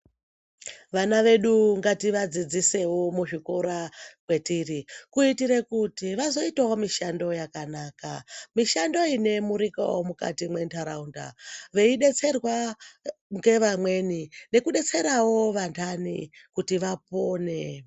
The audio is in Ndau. Vana vedu ngativadzidzise muzvikora matiri kuitira kuti vazoitawo mishando yakanaka mishando inoemurikawo mukati mendaraunda veidetserwa ngevamweni nekudetserawo vandani kuti vapone.